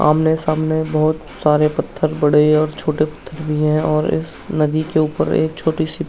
आमने-सामने बहोत सारे पत्थर पड़े हैं और छोटे पत्थर भी हैं और एक नदी के ऊपर एक छोटी सी --